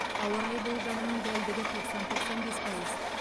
ауа райы болжамының дәлдігі тоқсан тоқсан бес пайыз